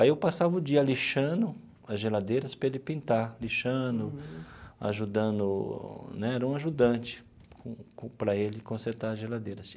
Aí eu passava o dia lixando as geladeiras para ele pintar, lixando, ajudando né, era um ajudante com com para ele consertar as geladeiras.